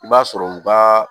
I b'a sɔrɔ u ka